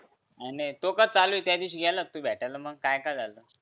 आणि तूह कस चालूय तू त्या दिवशी गेला होता भेटाला मंग काय काय झालं